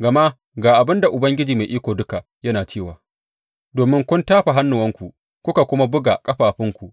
Gama ga abin da Ubangiji Mai Iko Duka yana cewa domin kun tafa hannuwanku kuka kuma buga ƙafafunku,